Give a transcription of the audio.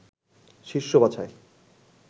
শীর্ষ বাছাই